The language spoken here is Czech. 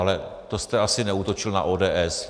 Ale to jste asi neútočil na ODS.